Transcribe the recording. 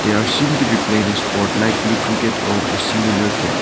they are seem to be played a sport likely cricket or a singular game.